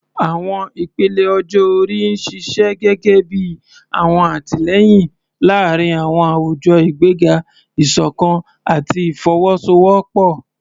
Àwọn ìpele ọjọ́ orí ń ṣiṣẹ́ gẹ́gẹ́ bí ọ̀wọ̀n àtìlẹ́yìn láàárín àwùjọ, ìgbéga ìṣọ̀kan àti ìfọwọ́sowọ́pọ̀.